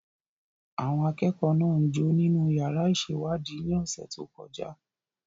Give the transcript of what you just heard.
Àwọn akẹ́kọ̀ọ́ náà ń jó nínú yàrá ìṣèwádìí ní ọ̀sẹ̀ tó kọjá.